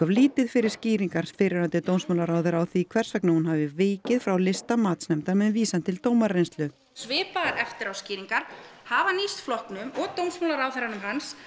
lítið fyrir skýringar fyrrverandi dómsmálaráðherra á því hvers vegna hún hafi vikið frá lista matsnefndar með vísan til dómarareynslu svipaðar eftiráskýringar hafa nýst flokknum og dómsmálaráðherrum hans